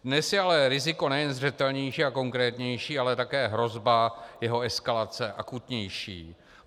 Dnes je ale riziko nejen zřetelnější a konkrétnější, ale také hrozba jeho eskalace akutnější.